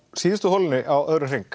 síðustu holunni á öðrum hring